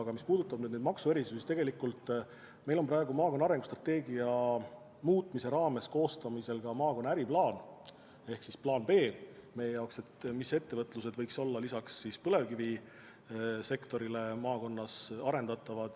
Aga mis puudutab maksuerisusi, siis meil on praegu maakonna arengustrateegia muutmise raames koostamisel ka maakonna äriplaan ehk plaan B, mis laadi ettevõtlus võiks olla lisaks põlevkivisektorile maakonnas arendatav.